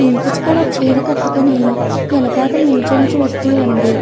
Pink చ్ colour చీర కట్టుకొని వెనకాతల నించుని చూస్తుంది.